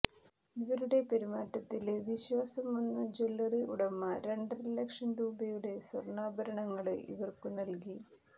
ഇവരുടെ പെരുമാറ്റത്തില് വിശ്വാസം വന്ന ജ്വല്ലറി ഉടമ രണ്ടര ലക്ഷം രൂപയുടെ സ്വര്ണാഭരണങ്ങള് ഇവര്ക്കു നല്കി